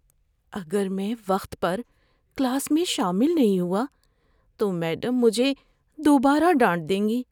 اگر میں وقت پر کلاس میں شامل نہیں ہوا تو میڈم مجھے دوبارہ ڈانٹ دیں گی۔